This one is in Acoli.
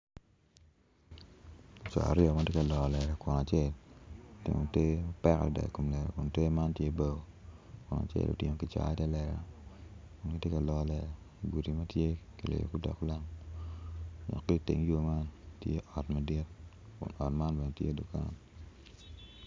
Co aryo ma tye ka loro lela kun acel otingo te mapek adada i kom lela kun te man tye bao gitye ka lolo lela igudi ma tye kiliyo ki lam kun ki iteng yo man ot madit kun ot man bene tye dukan.